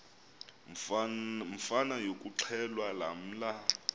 mvana yokuxhelwa lamla